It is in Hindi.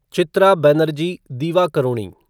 चित्रा बनर्जी दिवाकरुणी